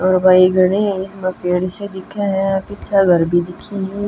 अर भई घणे ही इसमें पेड़ से दिखे हं पीछे घर भी दिक्खें हं।